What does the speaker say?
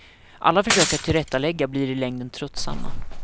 Alla försök att tillrättalägga blir i längden tröttsamma.